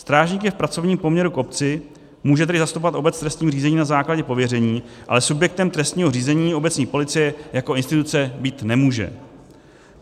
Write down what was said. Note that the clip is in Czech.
Strážník je v pracovním poměru k obci, může tedy zastupovat obec v trestním řízení na základě pověření, ale subjektem trestního řízení obecní policie jako instituce být nemůže.